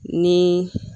Ni